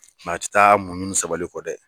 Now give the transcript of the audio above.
a tɛ taa muɲu nu sabalikɔ dɛ.